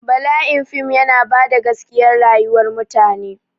Bala'in fim yana bada gaskiya rayuwar mutane